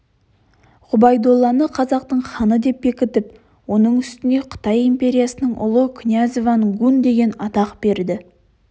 ғұбайдолланы қазақтың ханы деп бекітіп оның үстіне қытай империясының ұлы князіван гун деген атақ берді